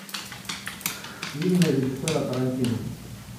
фильмы режиссера тарантино